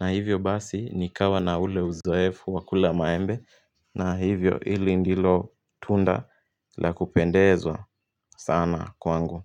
Na hivyo basi ni kawa na ule uzoefu wa kula maembe na hivyo ili ndilo tunda la kupendezwa sana kwangu.